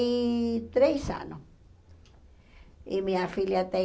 e três anos. E minha filha tem